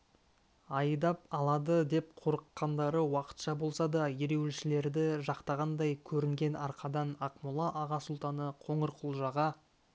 айдап алады деп қорыққандары уақытша болса да ереуілшілерді жақтағандай көрінген арқадан ақмола аға сұлтаны қоңырқұлжаға